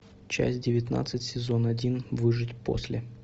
часть девятнадцать сезон один выжить после